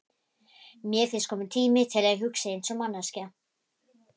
Mér finnst kominn tími til að ég hugsi einsog manneskja.